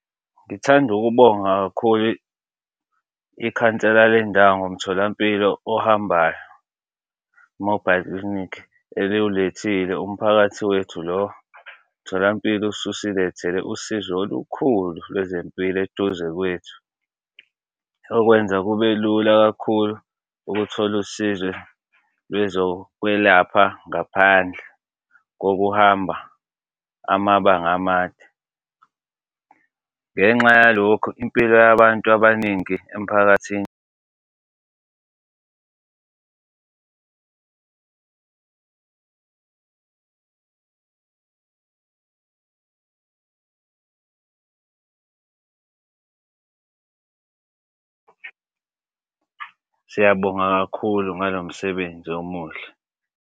Ngithanda ukubonga kakhulu ikhansela lendawo ngomtholampilo ohambayo, i-mobile clinic eliwulethile. Umphakathi wethu lo mtholampilo ususilethele usizo olukhulu lwezempilo eduze kwethu okwenza kube lula kakhulu ukuthola usizo lwezokwelapha ngaphandle kokuhamba amabanga amade. Ngenxa yalokho impilo yabantu abaningi emphakathini . Siyabonga kakhulu ngalo msebenzi omuhle.